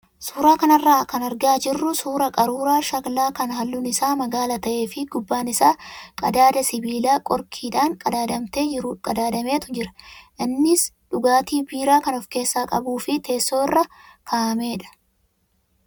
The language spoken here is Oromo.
Suuraa kanarraa kan argaa jirru suuraa qaruuraa shaklaa kan halluun isaa magaala ta'ee fi gubbaan isaa qadaada sibiilaa qorkiidhaan qadaadametu jira. Innis dhugaatii biiraa kan of keessaa qabuu fi teessoo irra kaa'amedha.